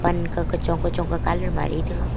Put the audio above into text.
panka kachong kachong ka colour mari taiga.